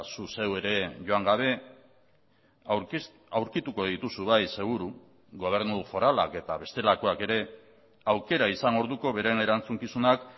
zu zeu ere joan gabe aurkituko dituzu bai seguru gobernu foralak eta bestelakoak ere aukera izan orduko beren erantzukizunak